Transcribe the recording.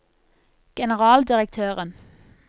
generaldirektøren